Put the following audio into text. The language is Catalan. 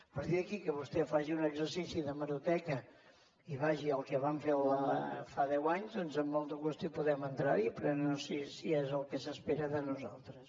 a partir d’aquí que vostè faci un exercici d’hemeroteca i vagi al que vam fer fa deu anys doncs amb molt de gust hi podem entrar però no sé si és el que s’espera de nosaltres